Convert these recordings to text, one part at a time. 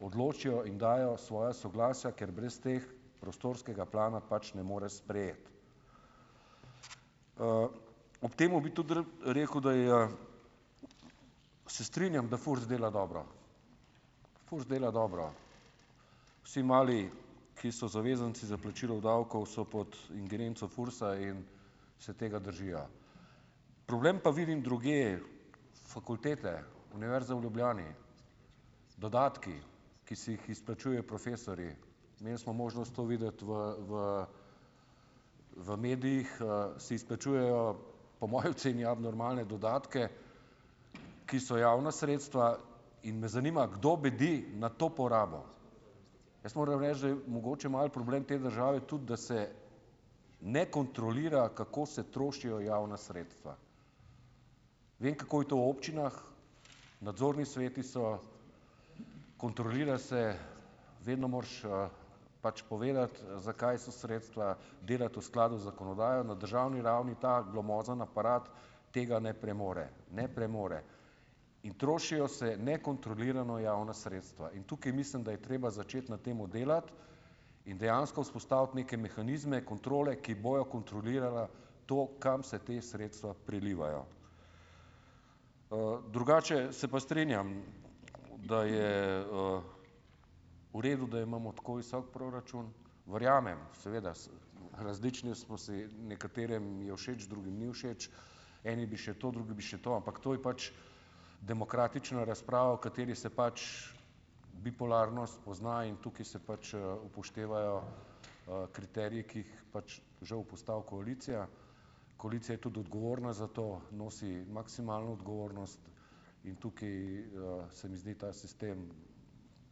odločijo in dajo svoja soglasja, ker brez teh prostorskega plana pač ne moreš sprejeti. ob tem bi tudi rad rekel, da je, se strinjam, da FURS dela dobro. FURS dela dobro. Vsi mali, ki so zavezanci za plačilo davkov, so pod ingerenco FURS-a in se tega držijo. Problem pa vidim drugje. Fakultete, Univerza v Ljubljani, dodatki, ki si jih izplačujejo profesorji. Imeli smo možnost to videti v, v, v medijih, si izplačujejo, po moji oceni, abnormalne dodatke, ki so javna sredstva, in me zanima, kdo bedi nad to porabo? Jaz moram reči, da je mogoče malo problem te države tudi, da se ne kontrolira, kako se trošijo javna sredstva. Vem, kako je to občinah, nadzorni sveti so, kontrolira se, vedno moraš, pač povedati, za kaj so sredstva, delati v skladu z zakonodajo, na državni ravni ta glomazni aparat tega ne premore. Ne premore. In trošijo se nekontrolirano javna sredstva. In tukaj mislim, da je treba začeti na tem delati in dejansko vzpostaviti neke mehanizme, kontrole, ki bojo kontrolirale to, kam se te sredstva prelivajo. drugače se pa strinjam, da je, v redu, da imamo tako visok proračun. Verjamem, seveda, različni smo si, nekaterim je všeč, drugim ni všeč, eni bi še to, drugi bi še to, ampak to je pač demokratična razprava, v kateri se pač bipolarnost pozna, in tukaj se pač, upoštevajo, kriteriji, ki jih pač žal postavi koalicija. Koalicija je tudi odgovorna za to, nosi maksimalno odgovornost in tukaj, se mi zdi, ta sistem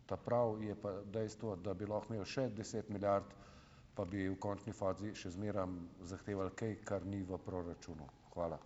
ta pravi, je pa dejstvo, da bi lahko imel še deset milijard, pa bi v končni fazi še zmeraj zahtevali kaj, kar ni v proračunu. Hvala.